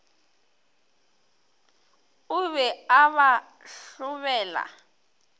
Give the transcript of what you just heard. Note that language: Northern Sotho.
o be a ba hlobela